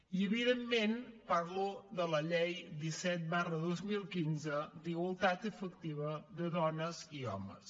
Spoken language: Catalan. i evidentment parlo de la llei disset dos mil quinze d’igualtat efectiva de dones i homes